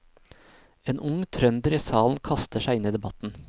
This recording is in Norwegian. En ung trønder i salen kaster seg inn i debatten.